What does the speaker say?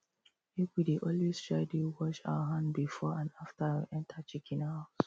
make we dey always try dey wash our hand before and after we enter chicken house